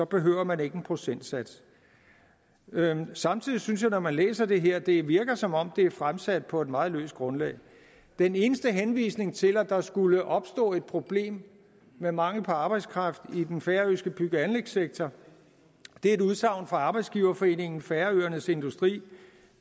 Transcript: behøver man ikke en procentsats samtidig synes jeg når man læser det her at det virker som om det er fremsat på et meget løst grundlag den eneste henvisning til at der skulle opstå et problem med mangel på arbejdskraft i den færøske bygge og anlægssektor er et udsagn fra arbejdsgiverforeningen færøernes industri